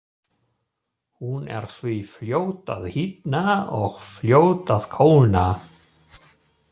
Hún er því fljót að hitna og fljót að kólna.